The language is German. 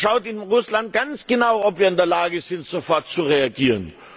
Man schaut in Russland ganz genau, ob wir in der Lage sind, sofort zu reagieren.